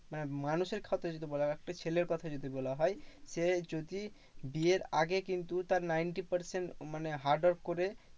মানে মানুষের কথা যদি বলা হয়, একটা ছেলের কথা যদি বলা হয়, যে যদি বিয়ের আগে কিন্তু তার ninety percent মানে hard work করে